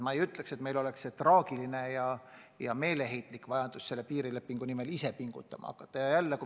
Ma ei ütleks, et meil on traagiline seis ja meeleheitlik vajadus selle piirilepingu nimel pingutama hakata.